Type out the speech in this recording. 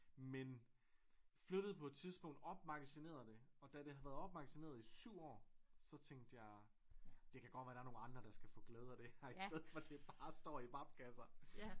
Men flyttede på et tidspunkt opmagasinerede det og da det havde været opmagasineret i 7 år så tænkte jeg det kan godt være der er nogle andre der skal få glæde af det her i stedet for at det bare står i papkasser